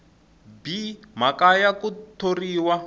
b mhaka ya ku thoriwa